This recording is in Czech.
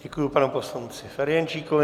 Děkuji panu poslanci Ferjenčíkovi.